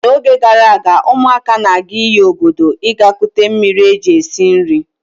N'oge gara aga, ụmụaka na-aga iyi obodo ịga kute mmiri e ji esi nri.